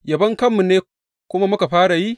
Yabon kanmu ne kuma muka fara yi?